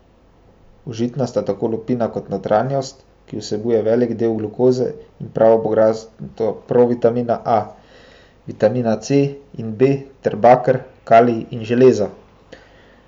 Užitna sta tako lupina kot notranjost, ki vsebuje velik del glukoze in pravo bogastvo provitamina A, vitamina C in B ter baker, kalij in železo.